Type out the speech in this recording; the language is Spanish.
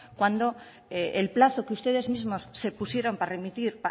cuando el plazo que ustedes mismos se pusieron para remitir